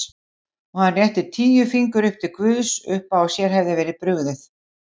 Og hann rétti tíu fingur upp til guðs uppá að sér hefði verið brugðið.